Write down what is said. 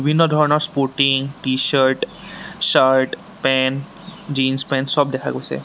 বিভিন্ন ধৰণৰ sporting T shirt shirt pant jeans pant চব দেখা গৈছে।